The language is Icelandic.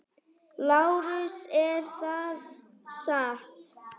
LÁRUS: Er það satt?